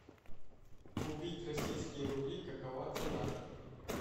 купить российские рубли какова цена